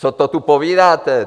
Co to tu povídáte!